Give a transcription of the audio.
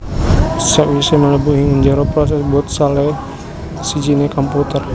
Sakwisé mlebu ing njero prosès boot salah sijiné komputer